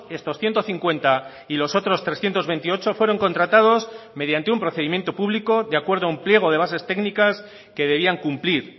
estos ciento cincuenta y los otros trescientos veintiocho fueron contratados mediante un procedimiento público de acuerdo a un pliego de bases técnicas que debían cumplir